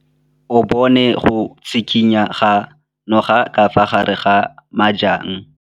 O bone go tshikinya ga noga ka fa gare ga majang.